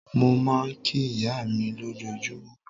Mo máa ń kí ìyá mi lójoojúmọ́.